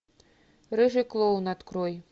рыжий клоун открой